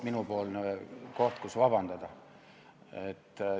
Jälle koht, kus vabandust paluda.